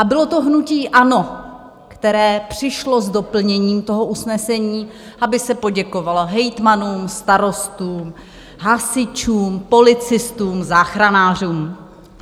A bylo to hnutí ANO, které přišlo s doplněním toho usnesení, aby se poděkovalo hejtmanům, starostům, hasičům, policistům, záchranářům.